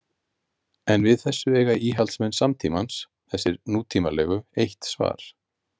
En við þessu eiga íhaldsmenn samtímans, þessir nútímalegu, eitt svar.